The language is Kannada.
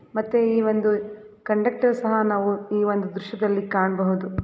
ಮತ್ತೆ ಈ ಒಂದು ಕಂಡಕ್ಟರ್ ಸಹ ನಾವು ಈ ಒಂದು ದೃಶ್ಯದಲ್ಲಿ ಕಾಣಬಹುದು.